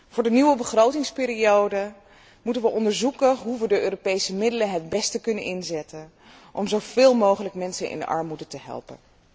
Voor de nieuwe begrotingsperiode moeten we onderzoeken hoe we de Europese middelen het best kunnen inzetten om zo veel mogelijk mensen in armoede te helpen.